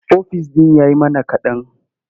Ofis ɗin ya yi mana kaɗan.